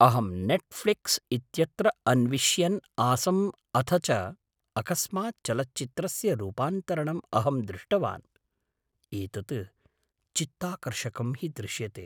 अहं नेट्फ़्लिक्स् इत्यत्र अन्विष्यन् आसम् अथ च अकस्मात् चलच्चित्रस्य रूपान्तरण्म् अहं दृष्टवान्। एतत् चित्ताकर्षकं हि दृश्यते!